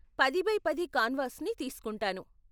పది బై పది కాన్వాస్ని తీస్కుంటాను.